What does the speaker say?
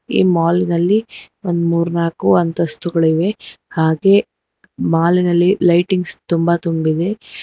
ಈ ಮಾಲ್ ನಲ್ಲಿ ಒಂದ್ ಮೂರ್ ನಾಲ್ಕ್ ಅಂತಸ್ತುಗಳಿವೆ ಹಾಗೆ ಮಾಲ್ ನಲ್ಲಿ ಲೈಟಿಂಗ್ಸ್ ತುಂಬಾ ತುಂಬಿದೆ.